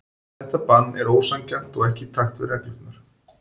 Þetta bann er ósanngjarnt og ekki í takt við reglurnar.